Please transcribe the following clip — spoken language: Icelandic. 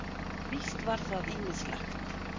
Víst var það ýmislegt.